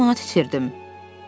50 manat itirdim.